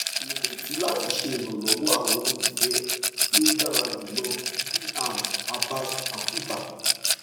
ireti lati ṣe iranlọwọ awọn ifẹ ti o dara julọ dr abaz quka